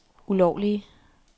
ulovlige